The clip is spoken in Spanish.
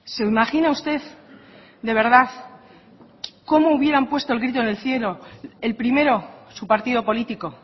se imagina usted de verdad cómo hubieran puesto el grito en el cielo el primero su partido político